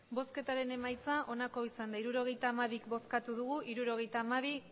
emandako botoak hirurogeita hamabi bai hirurogeita hamabi